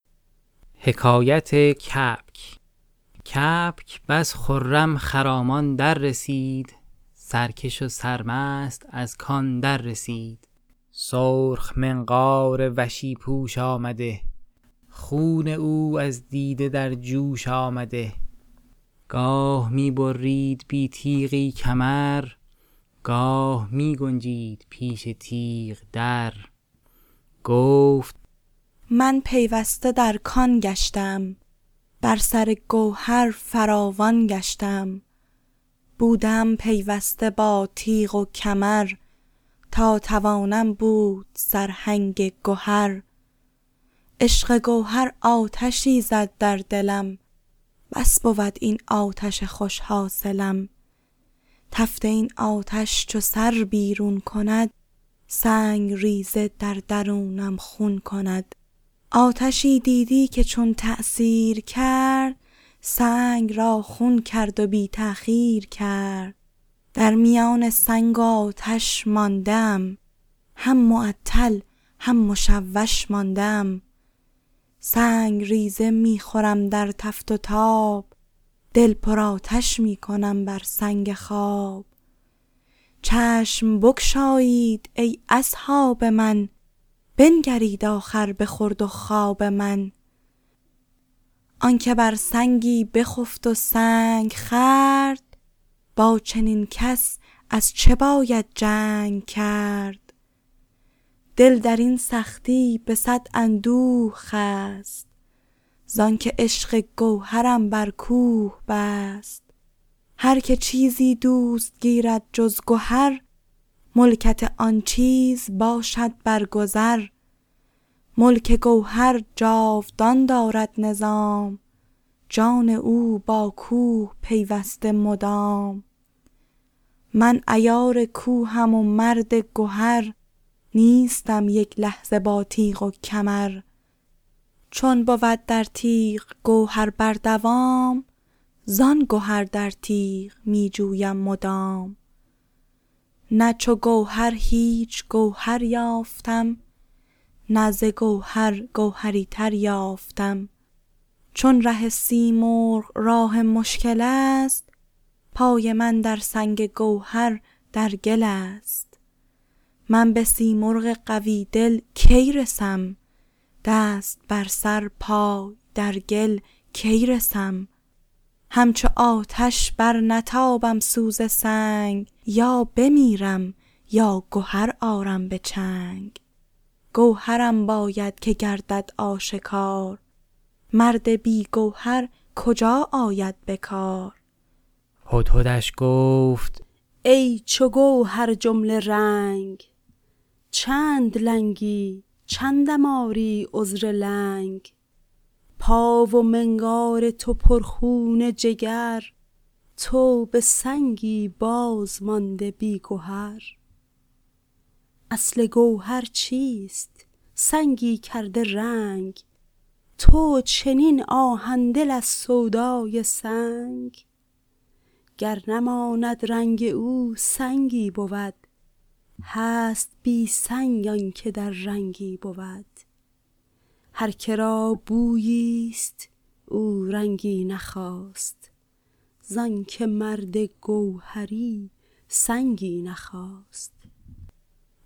کبک بس خرم خرامان در رسید سرکش و سرمست از کان در رسید سرخ منقار وشی پوش آمده خون او از دیده در جوش آمده گاه می برید بی تیغی کمر گاه می گنجید پیش تیغ در گفت من پیوسته در کان گشته ام بر سر گوهر فراوان گشته ام بوده ام پیوسته با تیغ و کمر تا توانم بود سرهنگ گهر عشق گوهر آتشی زد در دلم بس بود این آتش خوش حاصلم تفت این آتش چو سر بیرون کند سنگ ریزه در درونم خون کند آتشی دیدی که چون تأثیر کرد سنگ را خون کرد و بی تأخیر کرد در میان سنگ و آتش مانده ام هم معطل هم مشوش مانده ام سنگ ریزه می خورم در تف و تاب دل پر آتش می کنم بر سنگ خواب چشم بگشایید ای اصحاب من بنگرید آخر به خورد و خواب من آنک بر سنگی بخفت و سنگ خورد با چنین کس از چه باید جنگ کرد دل در این سختی به صد اندوه خست زآنک عشق گوهرم بر کوه بست هرک چیزی دوست گیرد جز گهر ملکت آن چیز باشد برگذر ملک گوهر جاودان دارد نظام جان او با کوه پیوسته مدام من عیار کوهم و مرد گهر نیستم یک لحظه با تیغ و کمر چون بود در تیغ گوهر بر دوام زآن گهر در تیغ می جویم مدام نه چو گوهر هیچ گوهر یافتم نه ز گوهر گوهری تر یافتم چون ره سیمرغ راه مشکل است پای من در سنگ گوهر در گل است من به سیمرغ قوی دل کی رسم دست بر سر پای در گل کی رسم همچو آتش برنتابم سوز سنگ یا بمیرم یا گهر آرم به چنگ گوهرم باید که گردد آشکار مرد بی گوهر کجا آید به کار هدهدش گفت ای چو گوهر جمله رنگ چند لنگی چندم آری عذر لنگ پا و منقار تو پر خون جگر تو به سنگی بازمانده بی گهر اصل گوهر چیست سنگی کرده رنگ تو چنین آهن دل از سودای سنگ گر نماند رنگ او سنگی بود هست بی سنگ آنک در رنگی بود هرک را بویی ست او رنگی نخواست زآنک مرد گوهری سنگی نخواست